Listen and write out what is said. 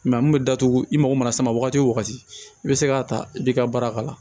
a mun bɛ datugu i mako mana s'a ma wagati o wagati i bɛ se k'a ta i b'i ka baara k'a la